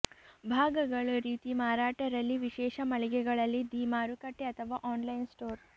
ಭಾಗಗಳು ರೀತಿ ಮಾರಾಟ ರಲ್ಲಿ ವಿಶೇಷ ಮಳಿಗೆಗಳಲ್ಲಿ ದಿ ಮಾರುಕಟ್ಟೆ ಅಥವಾ ಆನ್ಲೈನ್ ಸ್ಟೋರ್